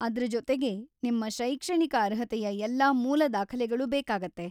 ಅದ್ರ ಜೊತೆಗೆ ನಿಮ್ ಶೈಕ್ಷಣಿಕ ಅರ್ಹತೆಯ ಎಲ್ಲಾ ಮೂಲ ದಾಖಲೆಗಳು ಬೇಕಾಗತ್ತೆ.